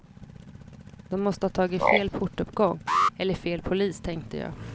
De måste ha tagit fel portuppgång eller fel polis, tänkte jag.